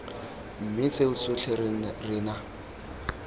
mme tseo tsotlhe re na